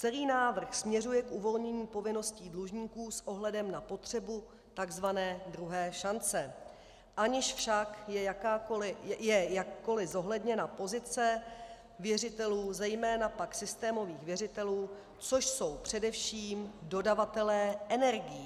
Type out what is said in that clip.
Celý návrh směřuje k uvolnění povinností dlužníků s ohledem na potřebu tzv. druhé šance, aniž však je jakkoli zohledněna pozice věřitelů, zejména pak systémových věřitelů, což jsou především dodavatelé energií.